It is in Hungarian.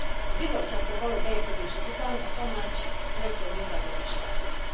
A Bizottságtól való beérkezésük után a Tanács rögtön munkához is látott.